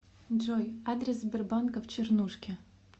джой адрес сбербанка в чернушке